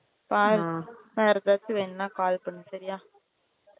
வேற ஏதாச்சும் வேணும்னா call பண்ணு okay யா